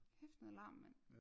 Kæft noget larm mand